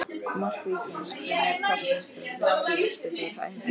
Mark Víkings: Brynjar Kristmundsson Veistu úrslit úr æfingaleikjum?